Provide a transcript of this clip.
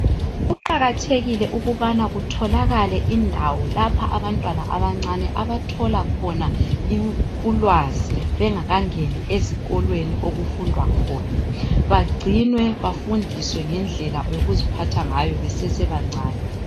Kuqakathekile ukubana kutholakale indawo lapho abantwana abancane abathola khona ulwazi bengakangeni ezikolweni okufundwa khona bagcinwe bafundiswe ngendlela yokuziphatha ngayo besesebancani.